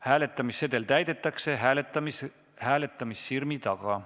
Hääletamissedel täidetakse hääletamissirmi taga.